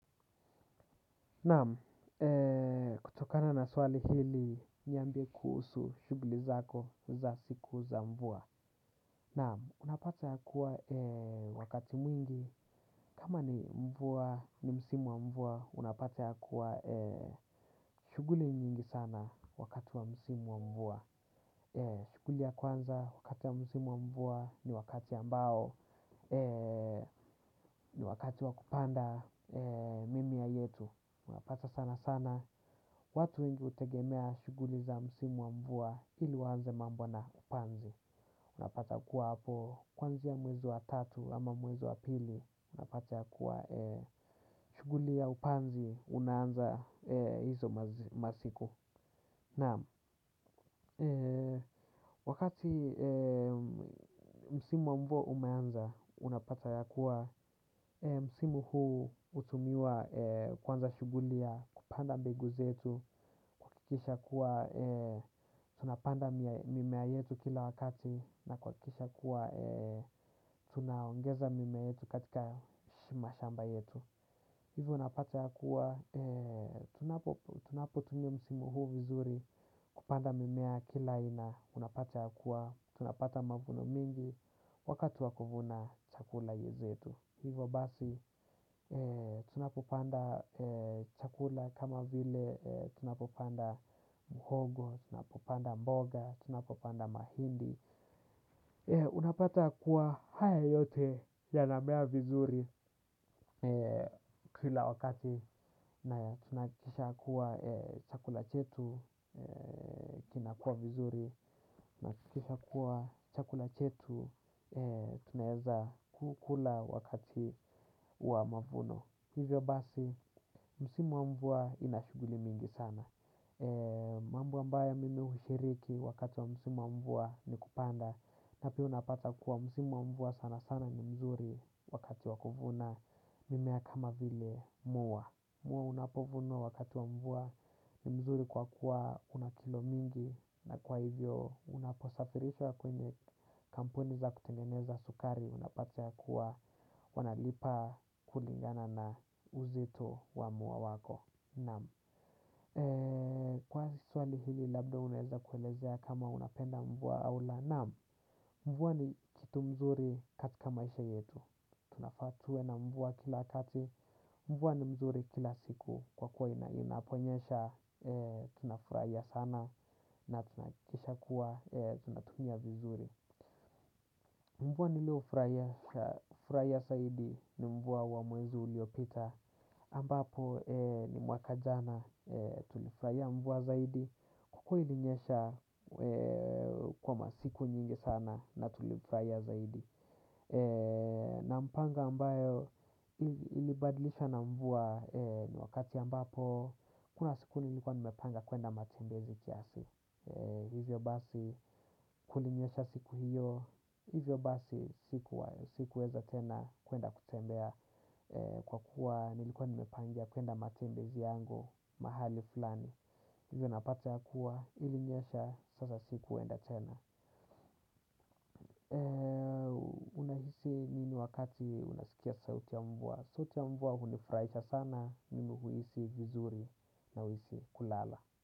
Naam, kutokana na swali hili, niambie kuhusu shughuli zako za siku za mvua. Naam, unapata ya kuwa wakati mwingi, kama ni mvua ni msimu wa mvua, unapata ya kuwa shughuli nyingi sana wakati wa msimu wa mvua. Shughuli ya kwanza, wakati wa msimu wa mvua ni wakati ambao, ni wakati wa kupanda mimea yetu unapata sana sana watu wengi hutegemea shughuli za msimu wa mvua ili waanze mambo na upanzi unapata kuwa hapo kuanzia mwezi wa tatu ama mwezi wa pili unapata kuwa shughuli ya upanzi unaanza hizo masiku naam, wakati msimu wa mvua umeanza unapata ya kuwa msimu huu hutumiwa kuanza shughuli ya kupanda mbegu zetu kisha kuwa tunapanda mimea yetu kila wakati na kuhakikisha kuwa tunaongeza mimea yetu katika mashamba yetu hivyo unapata ya kuwa tunapotumia msimu huu vizuri kupanda mimea ya kila aina unapata ya kuwa tunapata mavuno mengi wakati wa kuvuna chakula zetu hivyo basi, tunapopanda chakula kama vile tunapopanda mhogo, tunapopanda mboga, tunapopanda mahindi. Unapata kuwa haya yote yanamea vizuri kila wakati na tunahakikisha kuwa chakula chetu kinakua vizuri. Nahakikisha kuwa chakula chetu tunaweza kukula wakati wa mavuno hivyo basi, msimu wa mvua ina shughuli mingi sana. Mambo ambayo mimi hushiriki wakati wa msimu wa mvua ni kupanda. Na pia unapata kuwa msimu wa mvua sana sana ni mzuri wakati wa kuvuna. Mimea kama vile muwa muwa unapovunwa wakati wa mvua ni mzuri kwa kuwa una kilo mingi na kwa hivyo unaposafirishwa kwenye kampuni za kutengeneza sukari unapata kuwa wanalipa kulingana na uzito wa muwa wako naam. Kwa swali hili, labda unaweza kuelezea kama unapenda mvua au la naam. Mvua ni kitu mzuri katika maisha yetu. Tunafaa tuwe na mvua kila wakati. Mvua ni mzuri kila siku kwa kuwa inaponyesha, tunafurahia sana. Na tunahakikisha kuwa tunatumia vizuri. Mvua niliyofurahia furahia zaidi ni mvua wa mwezi uliopita ambapo ni mwaka jana. Tulifurahia mvua zaidi kwa kuwa ilinyesha kwa masiku nyingi sana na tulifurahia zaidi. Na mpango ambayo ilibadilishwa na mvua ni wakati ambapo kuna siku nilikuwa nimepanga kwenda matembezi kiasi. Hivyo basi kulinyesha siku hiyo hivyo basi sikuweza tena kwenda kutembea kwa kuwa nilikuwa nimepangia kwenda matembezi yangu mahali fulani hivyo unapata kuwa ilinyesha sasa sikuenda tena. Unahisi nini wakati unasikia sauti ya mvua sauti ya mvua hunifurahisha sana mimi huhisi vizuri na huhisi kulala.